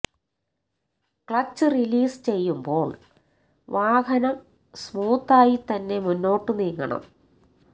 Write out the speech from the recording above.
clutch release ചെയ്യുമ്പോള് വാഹനം സ്മൂത്തായി തന്നെ മുന്നോട്ടു നീങ്ങണം